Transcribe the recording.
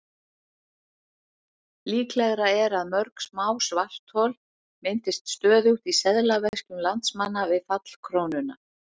Líklegra er að mörg smá svarthol myndist stöðugt í seðlaveskjum landsmanna við fall krónunnar.